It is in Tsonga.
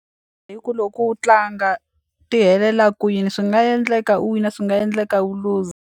Hi ku loko u tlanga ti helela kwini swi nga endleka u wina swi nga endleka u luza.